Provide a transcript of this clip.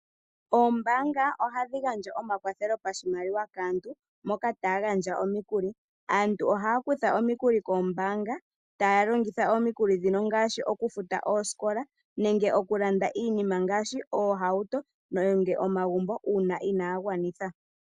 Oombaanga oha dhi gandja omakwathelo pashi maliwa kaantu moka taagandja omikuli, aantu ohaa kutha omikuli koombaanga taalongitha omikuli ndhino ngaashi oku futa oosikola nenge oku landa iinima ngaashi oohauto nenge omagumbo uuna inaagwanitha.